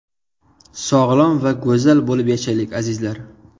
Sog‘lom va go‘zal bo‘lib yashaylik, azizlar!